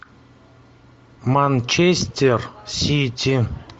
манчестер сити